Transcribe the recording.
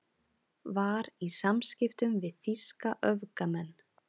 Var í samskiptum við þýska öfgamenn